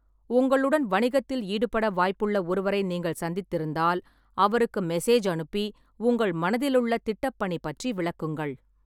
உங்களுடன் வணிகத்தில் ஈடுபட வாய்ப்புள்ள ஒருவரை நீங்கள் சந்தித்திருந்தால், அவருக்கு மெசேஜ் அனுப்பி உங்கள் மனதிலுள்ள திட்டப்பணி பற்றி விளக்குங்கள்.